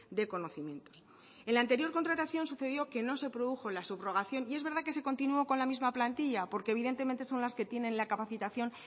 de conocimientos en la anterior contratación sucedió que no se produjo la subrogación y es verdad que se continuó con la misma plantilla porque evidentemente son las que tienen la capacitación